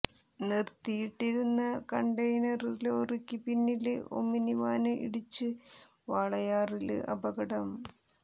നിര്ത്തിയിട്ടിരുന്ന container ലോറിക്ക് പിന്നില് omni van ഇടിച്ച് വാളയാറില് അപകടം